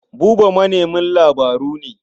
Buba manemin labaru ne.